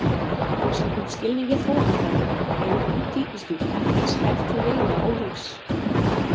Samkvæmt skilningi þróunarfræðinnar eru hvít tígrisdýr ekki eins hæf til veiða og lífs.